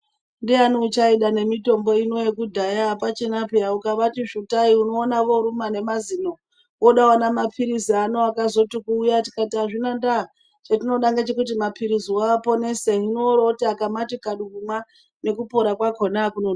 Ndiyani uchaida nemitombo ino yekudhaya apachina peya ukavati svutai unoona voruma nemazino ,voda vana mapilizi uno akati kuuya tikati azvina ndaa chatinoda ngechekuti mapiliziwo aponese. Hino orooti akaati kadu kumwa nekupora kwakona kunonoki.